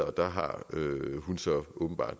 og der har hun så åbenbart